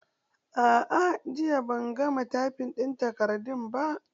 A'a jiya ban gama taifin ɗin takardun ba.